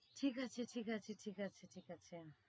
ঠিক আছে ঠিক আছে ঠিক আছে ঠিক আছে